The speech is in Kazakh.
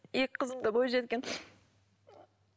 екі қызым да бойжеткен